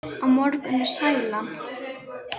Á morgun er sælan.